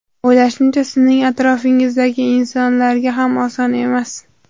O‘ylashimcha, sizning atrofingizdagi insonlarga ham oson emas.